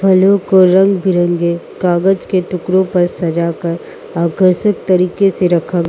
फलों को रंग बिरंगे कागज के टुकड़ों पर सजाकर आकर्षक तरीके से रखा --